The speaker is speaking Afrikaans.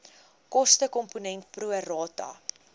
kostekomponent pro rata